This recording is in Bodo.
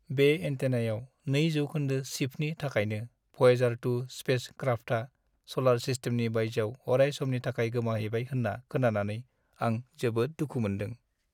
बे एन्टेनायाव 2% शिफ्टनि थाखायनो भयेजार-2 स्पेस-क्राफ्टआ सलार-सिस्टेमनि बायजोआव अराय समनि थाखाय गोमाहैबाय होन्ना खोनानानै आं जोबोद दुखु मोनदों।